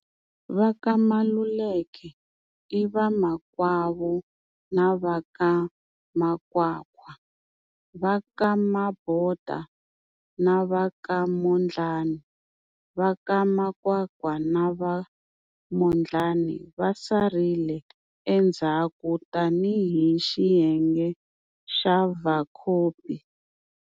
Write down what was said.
Va ka Maluleke i vamakwavo na va ka Makwakwa, va ka Mabota, na va ka Mondlani. Va ka Makwakwa na va Mondlani va sarile endzhaku tani hi xiyenge xa Vacopi.